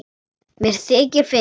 Mér þykir fyrir því.